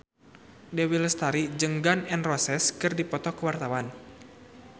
Dewi Lestari jeung Gun N Roses keur dipoto ku wartawan